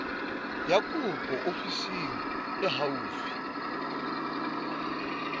ya kopo ofising e haufi